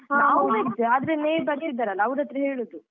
ನಾವ್ veg ಆದ್ರೆ neighbours ಇದ್ದಾರಲ್ಲಅವ್ರತ್ರ ಹೇಳುದು.